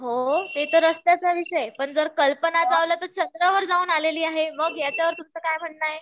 पण ते तर आहेच पण कल्पना चावला तर चंद्रावर जाऊन आलेली आहे याच्यावर तुमच काय म्हणणं आहे